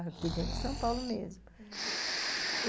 Aqui dentro de São Paulo mesmo, uhum. E